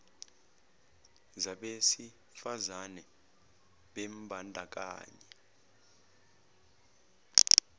zabesi fazane bembandakanyeka